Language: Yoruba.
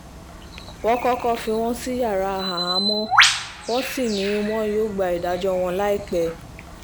wọ́n kọ́kọ́ fi wọ́n sí yàrá àhámọ́ wọ́n sì ni wọn yóò gba ìdájọ́ wọn láìpẹ́